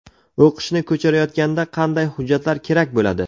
O‘qishni ko‘chirayotganda qanday hujjatlar kerak bo‘ladi?.